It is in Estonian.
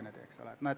Seda ei olnud.